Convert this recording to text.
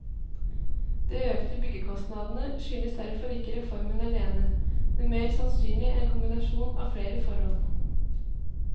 De økte byggekostnadene skyldes derfor ikke reformen alene, men mer sannsynlig en kombinasjon av flere forhold.